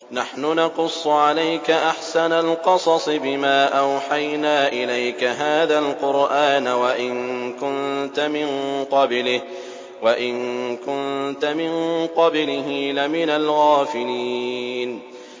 نَحْنُ نَقُصُّ عَلَيْكَ أَحْسَنَ الْقَصَصِ بِمَا أَوْحَيْنَا إِلَيْكَ هَٰذَا الْقُرْآنَ وَإِن كُنتَ مِن قَبْلِهِ لَمِنَ الْغَافِلِينَ